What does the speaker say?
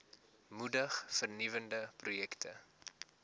moedig vernuwende projekte